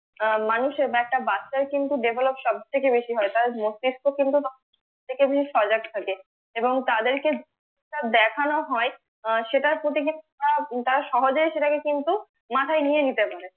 আহ মানুষের বা একটা বাচ্চার কিন্তু develop সবথেকে হয় তার মস্তিস্ক কিন্তু সজাগ থাকে এবং তাদের কে তা দেখানো হয় আহ সেটার প্রতি কিন্তু তারা সহজেই সেটাকে কিন্তু মাথায় নিয়ে নিতে পারে